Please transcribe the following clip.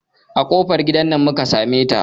A kofar gidan nan muka sameta.